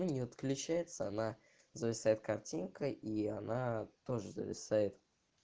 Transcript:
не отключается она зависает картинка и она тоже зависает